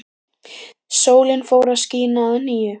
Sólin fór að skína að nýju.